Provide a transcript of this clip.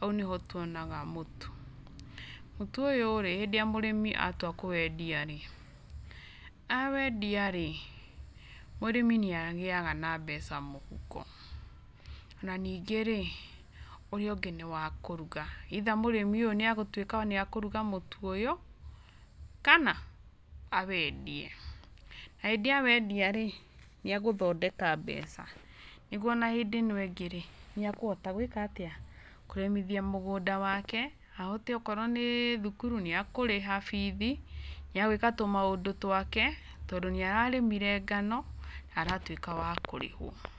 Hau nĩho twonaga mũtu. Mũtu ũyũ rĩ hĩndĩ ĩrĩa mũrĩmi atua kũwendia rĩ, awendia rĩ mũrĩmi nĩ agĩaga na mbeca mũhuko. Na ningĩ rĩ ũrĩa ũngĩ nĩ wa kũrũga either mũrĩmi ũyũ ni egũtuĩka nĩ ekũruga mũtu ũyũ kana awendie. Na hĩndĩ awendia rĩ nĩ agũthondeka mbeca nĩgũo ona hĩndĩ ĩno ĩngĩ rĩ nĩ ekũhota gwĩka atia? kũrĩmithia mũgũnda wake ahote okorwo nĩ thukuru nĩ ekũriha bithi, nĩ egũĩka tũmaũndũ twake tondũ nĩ ararĩmire ngano na aratuĩka wa kũrĩhwo.